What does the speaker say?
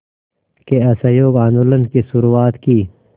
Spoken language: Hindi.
के असहयोग आंदोलन की शुरुआत की